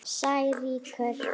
Sær rýkur.